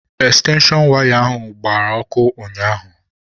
Ekstenshon waya ahụ gbara ọkụ ụnyaahụ.